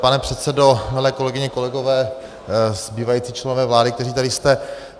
Pane předsedo, milé kolegyně, kolegové, zbývající členové vlády, kteří tady jste.